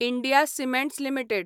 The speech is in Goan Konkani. India Cements limited